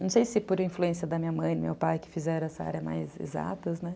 Não sei se por influência da minha mãe e meu pai que fizeram essa área mais exatas, né?